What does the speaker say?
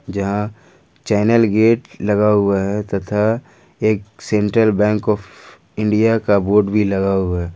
यहाँ channel gate लगा हुआ है तथा एक सेंट्रल बैंक ऑफ़ इंडिया का बोर्ड भी लगा हुआ है।